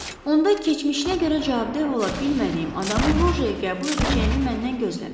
Onda keçmişinə görə cavabdeh ola bilmədiyim adamın lojaya qəbul edəcəyimi məndən gözləməyin.